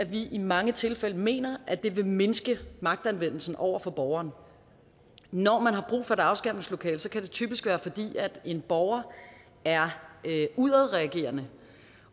vi i mange tilfælde mener at det vil mindske magtanvendelsen over for borgeren når man har brug for et afskærmningslokale kan det typisk være fordi en borger er udadreagerende